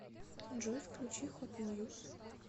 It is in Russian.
джой включи хот ньюз